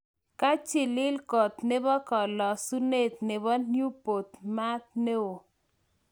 kachilil Koot nepo kalasunet nepo Newport maat neo.